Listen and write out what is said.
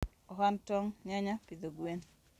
ohand tong¬ yanya pidho gwen.